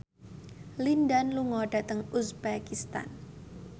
Lin Dan lunga dhateng uzbekistan